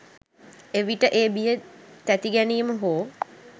එවිට ඒ බිය තැතිගැනීම හෝ